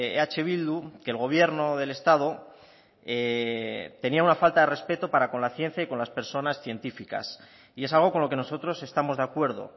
eh bildu que el gobierno del estado tenía una falta de respeto para con la ciencia y con las personas científicas y es algo con lo que nosotros estamos de acuerdo